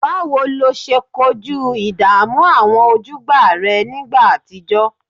Báwo lo ṣe kojú ìdààmú àwọn ojúgbà rẹ nígbà àtijọ́?